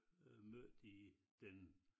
Øh mødt i den